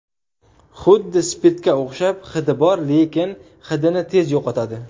Huddi spirtga o‘xshab hidi bor lekin hidini tez yo‘qotadi.